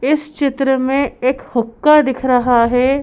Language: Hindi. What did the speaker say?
इस चित्र में एक हुक्का दिख रहा है।